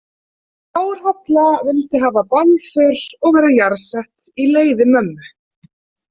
Þórhalla vildi hafa bálför og vera jarðsett í leiði mömmu.